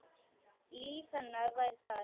Líf hennar væri þar.